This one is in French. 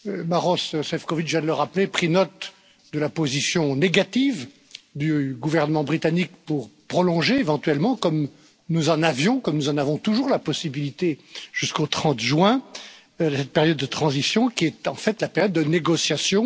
Maroš Sĕfčovič vient de le rappeler, nous avons pris note de la position négative du gouvernement britannique pour prolonger éventuellement, comme nous en avions, comme nous en avons toujours la possibilité jusqu'au 30 juin, cette période de transition qui est en fait la période de négociation.